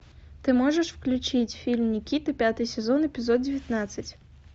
ты можешь включить фильм никита пятый сезон эпизод девятнадцать